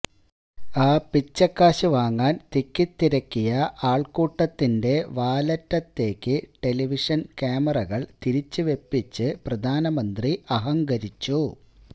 ആ പിച്ചക്കാശ് വാങ്ങാന് തിക്കിത്തിരക്കിയ ആള്ക്കൂട്ടത്തിന്്റെ വാലറ്റത്തേക്ക് ടെലിവിഷന് ക്യാമറകള് തിരിച്ചു വെപ്പിച്ച് പ്രധാനമന്ത്രി അഹങ്കരിച്ചു